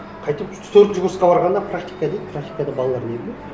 қайтып төртінші курсқа барғанда практика дейді практикада балалар не біледі